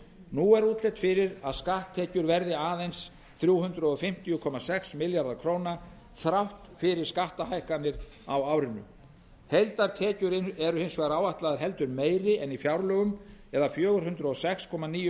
nú er útlit fyrir að skatttekjur verði aðeins þrjú hundruð fimmtíu komma sex milljarðar króna þrátt fyrir skattahækkanir á árinu heildartekjur eru hins vegar áætlaðar heldur meiri en í fjárlögum eða fjögur hundruð og sex komma níu